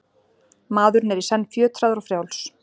Maðurinn er í senn fjötraður og frjáls.